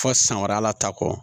Fo san wɛrɛ ta kɔ